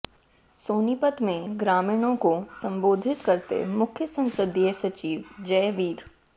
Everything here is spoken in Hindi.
सोनीपत में ग्रामीणों को संबोधित करते मुख्य संसदीय सचिव जयवीर